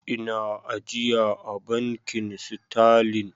Ina ajiya a Bankin Sterlin.